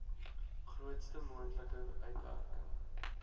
grootste moontlike uitwerking